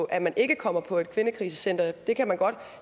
at man ikke kommer på et kvindekrisecenter for det kan man